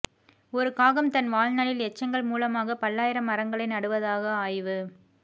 ஒரு காகம் தன் வாழ்நாளில் எச்சங்கள் மூலமாக பல்லாயிரம் மரங்களை நடுவதாக ஆய்வு